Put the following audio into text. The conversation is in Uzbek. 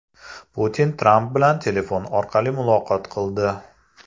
Putin Tramp bilan telefon orqali muloqot qildi.